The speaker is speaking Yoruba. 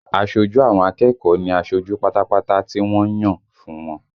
Aṣojú àwọn akẹ́kọ̀ọ́ ní aṣojú pátápátá tí wọ́n ń yàn fún wọn